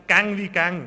«gäng wie gäng».